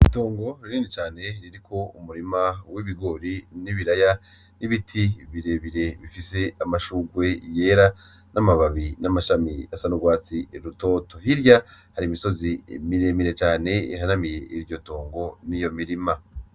Itongo rinini cane ririko umurima w'ibigori n'ibiraya n'ibiti birebire bifise amashurwe yera n'amababi n'amashami asa n'urwatsi rutoto, hirya hari imisozi miremire cane ihanamiye iryo tongo niyo mirima.